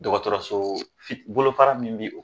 Dɔgɔtɔrɔso bolofara min bɛ o